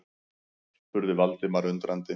spurði Valdimar undrandi.